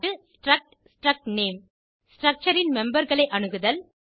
struct struct name structure ன் memberகளை அணுகுதல்